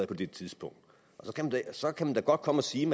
på det tidspunkt så kan man da godt komme og sige